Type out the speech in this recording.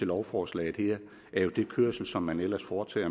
lovforslaget her er jo den kørsel som man ellers foretager